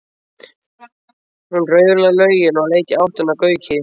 Hún raulaði lögin og leit í áttina að Gauki.